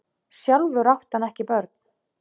Sjálfur átti hann ekki börn.